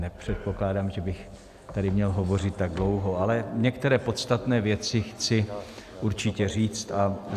Nepředpokládám, že bych tady měl hovořit tak dlouho, ale některé podstatné věci chci určitě říct.